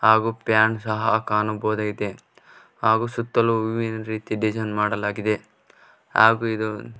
ಹಾಗು ಪ್ಯಾನ್ ಸಹ ಕಾಣುಬಹುದಾಗಿದೆ ಹಾಗು ಸುತ್ತಲು ಹೂವಿನ ರೀತಿ ಡಿಸೈನ್ ಮಾಡಲಾಗಿದೆ ಹಾಗು ಇದು --